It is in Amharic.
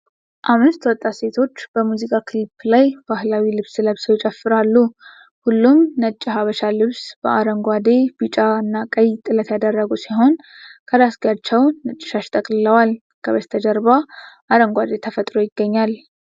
አምስት ወጣት ሴቶች በሙዚቃ ክሊፕ ላይ ባህላዊ ልብስ ለብሰው ይጨፍራሉ። ሁሉም ነጭ የሀበሻ ልብስ በአረንጓዴ፣ ቢጫና ቀይ ጥለት ያደረጉ ሲሆን፣ ከራስጌያቸው ነጭ ሻሽ ጠቅልለዋል። ከበስተጀርባ አረንጓዴ ተፈጥሮ ይገኛል።